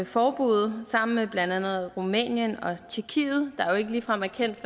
forbuddet sammen med blandt andet rumænien og tjekkiet der jo ikke ligefrem er kendt